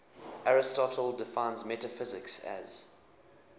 aristotle defines metaphysics as